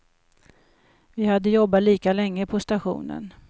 Vi hade jobbat lika länge på stationen.